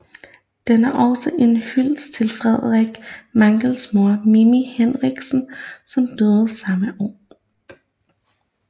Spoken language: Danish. Den er også en hyldest til Frederik Magles mor Mimi Heinrich som døde samme år